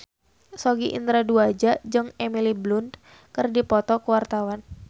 Sogi Indra Duaja jeung Emily Blunt keur dipoto ku wartawan